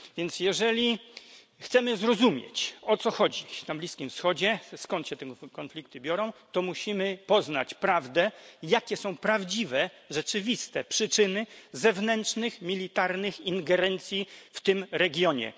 Więc jeżeli chcemy zrozumieć, o co chodzi dziś na Bliskim Wschodzie, skąd się te konflikty biorą, to musimy poznać prawdę, jakie są prawdziwe, rzeczywiste przyczyny zewnętrznych, militarnych ingerencji w tym regionie.